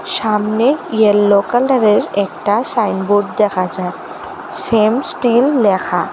সামনে ইয়েলো কালারের একটা সাইনবোর্ড দেখা যায় শ্যাম স্টিল ল্যাখা।